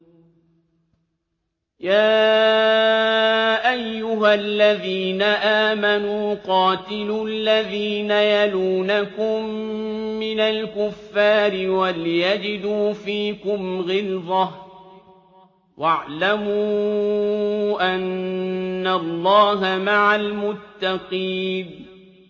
يَا أَيُّهَا الَّذِينَ آمَنُوا قَاتِلُوا الَّذِينَ يَلُونَكُم مِّنَ الْكُفَّارِ وَلْيَجِدُوا فِيكُمْ غِلْظَةً ۚ وَاعْلَمُوا أَنَّ اللَّهَ مَعَ الْمُتَّقِينَ